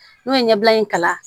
N'o ye ɲɛbila in kalan